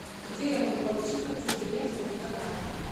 где я могу получить подтверждение своего заказа